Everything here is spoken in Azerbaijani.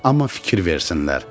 Amma fikir versinlər.